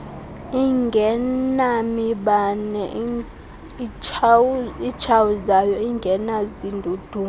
ingenamibane itshawuzayo ingenazindudumo